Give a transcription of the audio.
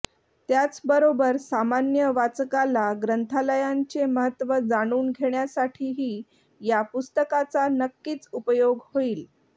त्याचबरोबर सामान्य वाचकाला ग्रंथालयांचे महत्त्व जाणून घेण्यासाठीही या पुस्तकाचा नक्कीच उपयोग होईल